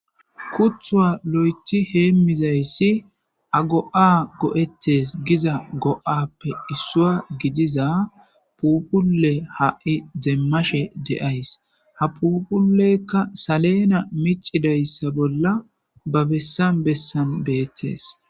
Kuthuwa lo'ethi heemmizayssi ago'a go7ettes giza go'appe issua gidiza puupule ha'i zeemmashe deays ha phuuphuleykka salena micidayssa bolla ba bessan bessan beettes